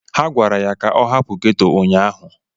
Ha gwara ya ka ọ hapụ ghetto ụnyahụ!